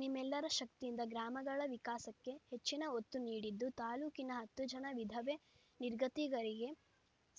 ನಿಮ್ಮೆಲ್ಲರ ಶಕ್ತಿಯಿಂದ ಗ್ರಾಮಗಳ ವಿಕಾಸಕ್ಕೆ ಹೆಚ್ಚಿನ ಒತ್ತು ನೀಡಿದ್ದು ತಾಲ್ಲೂಕಿನ ಹತ್ತು ಜನ ವಿಧವೆ ನಿರ್ಗತಿಕರಿಗೆ